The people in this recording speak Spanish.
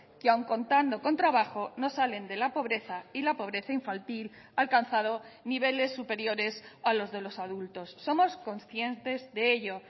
que aun contando con trabajo no salen de la pobreza y la pobreza infantil ha alcanzado niveles superiores a los de los adultos somos conscientes de ello